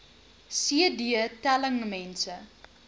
cd telling mense